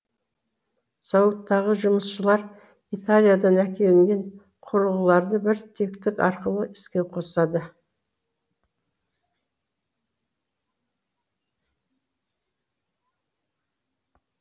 зауыттағы жұмысшылар италиядан әкелінген құрылғыларды бір тетік арқылы іске қосады